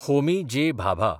Homi J. Bhabha